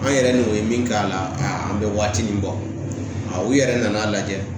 An yɛrɛ n'o ye min k'a la an bɛ waati nin bɔ u yɛrɛ nan n'a lajɛ